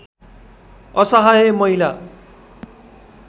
असहाय महिला